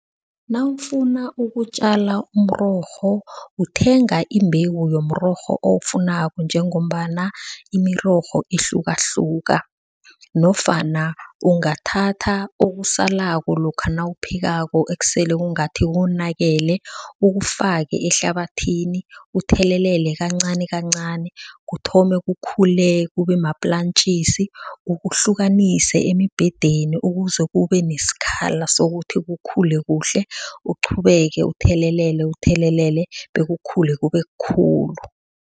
Nawufuna ukutjala umrorho uthenga imbewu yomrorho owufunako njengombana imirorho ihlukahluka. Nofana ungathatha okusalako lokha nawuphekako ekuseleko ngathi konakele ukufake ehlabathini. Uthelelele kancanikancani kuthome kukhule kube maplantjisi. Ukuhlukanise emibhedeni ukuze kube nesikhala sokuthi kukhule kuhle. Uqhubeke uthelelele uthelelele bekukhule kube khulu.